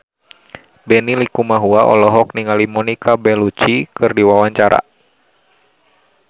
Benny Likumahua olohok ningali Monica Belluci keur diwawancara